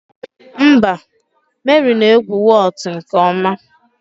Mba, Mary na-egwu Whot nke ọma